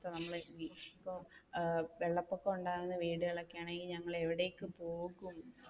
വെള്ളപൊക്കം ഒക്കെ വീടുകൾ ആണെങ്കിൽ ഞങ്ങൾ എവിടേക്ക് പോവും?